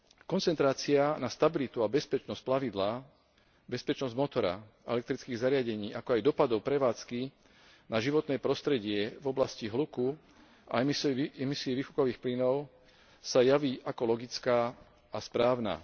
Koncentrácia na stabilitu a bezpečnosť plavidla, bezpečnosť motora a elektrických zariadení, ako aj dosahov prevádzky na životné prostredie v oblasti hluku a emisií výfukových plynov sa javí ako logická a správna.